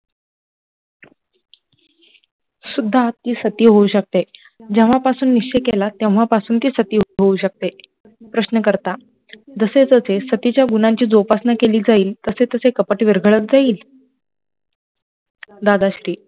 सुद्धा आपली सती होउ शकते, जेव्हा पासुन निश्चय केला तेव्हा पासुन सती होउ शकते, प्रश्न करता, जसे जसे सतीच्या गुंणाची उपासना केली जाईले तसे तसे कपट विरगळत जाईल, दादा श्री